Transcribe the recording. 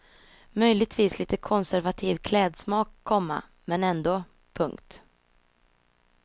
Möjligtvis lite konservativ klädsmak, komma men ändå. punkt